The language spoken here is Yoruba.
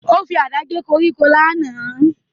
Ó fi àdá gé koríko lánàá